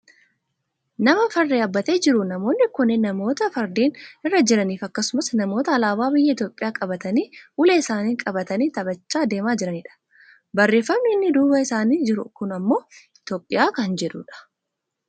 Nama farda yaabbatee jiru, namoonni kunneen namoota fardeen irra jiraniifi akkasumas namoota alaabaa biyya Itoopiyaa qabatanii ulee isaaniis qabatanii taphachaa deemaa jiranidha. Barreeffamni inni duuba isaanii jiru kun ammoo Itoophiyaa kana jedhudha.